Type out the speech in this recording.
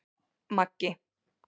Maggi